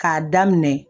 K'a daminɛ